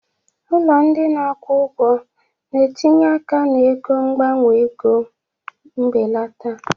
Ụlọ ndị na-akwụ ụgwọ na-etinye aka na ego mgbanwe ego mbelata